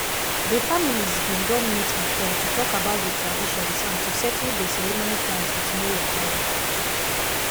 dey families been done meet before to talk about the traditions and to settle dey ceremony plans with no wahala.